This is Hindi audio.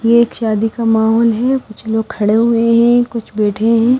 ये एक शादी का माहौल है कुछ लोग खड़े हुए हैं कुछ बैठे हैं।